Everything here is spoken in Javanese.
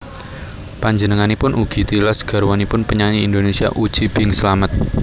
Panjenenganipun ugi tilas garwanipun penyanyi Indonesia Uci Bing Slamet